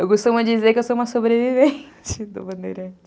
Eu gostava de dizer que eu sou uma sobrevivente do Bandeirantes.